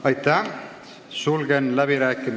Aitäh!